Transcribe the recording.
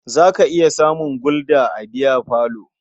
Za ka iya samun Gulda a biyafalo.